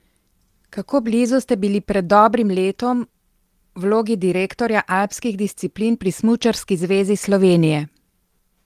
Kako blizu ste bili pred dobrim letom vlogi direktorja alpskih disciplin pri Smučarski zvezi Slovenije?